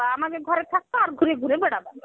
আমাদের ঘরে থাকবা আর ঘুড়ে ঘুড়ে বেড়াবা.